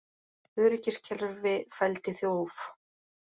Öryggiskerfi fældi þjóf